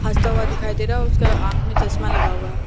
हंसता हुआ दिखाई दे रहा है उसका आंख में चश्मा लगा हुआ है।